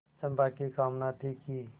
चंपा की कामना थी कि